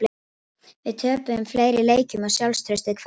Við töpuðum fleiri leikjum og sjálfstraustið hvarf.